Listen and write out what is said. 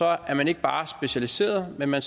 er man ikke bare specialiseret men man